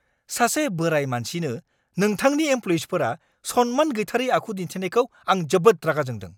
सासे बोराय मानसिनो नोंथांनि एमप्ल'इयिफोरा सनमान गैथारै आखु दिन्थिनायखौ आं जोबोद रागा जोंदों।